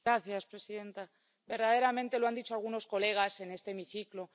Señora presidenta, verdaderamente, lo han dicho algunos colegas en este hemiciclo.